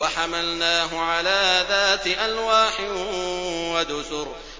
وَحَمَلْنَاهُ عَلَىٰ ذَاتِ أَلْوَاحٍ وَدُسُرٍ